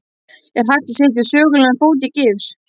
Er hægt að setja sögulegan fót í gifs?